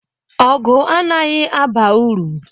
Ọgụ anaghị aba uru.